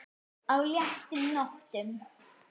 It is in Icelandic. á léttum nótum.